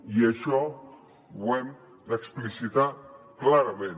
i això ho hem d’explicitar clarament